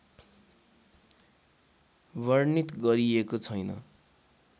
वर्णित गरिएको छैन